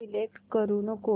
select करू नको